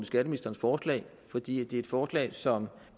skatteministerens forslag fordi det er et forslag som